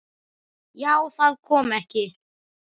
Já, kom það ekki!